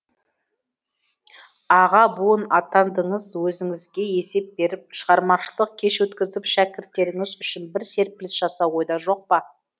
аға буын атандыңыз өзіңізге есеп беріп шығармашылық кеш өткізіп шәкірттеріңіз үшін бір серпіліс жасау ойда жоқ па